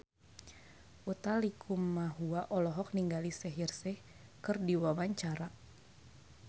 Utha Likumahua olohok ningali Shaheer Sheikh keur diwawancara